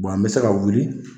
an be se ka wuli